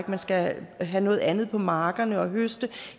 man skal have noget andet på markerne og høste